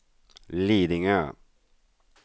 Lidingö